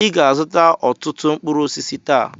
Ị ga-azụta ọtụtụ mkpụrụ osisi taa!